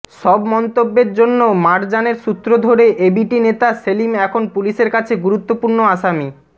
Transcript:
সব মন্তব্যের জন্য মারজানের সূত্র ধরে এবিটি নেতা সেলিম এখন পুলিশের কাছে গুরুত্বপূর্ণ আসামি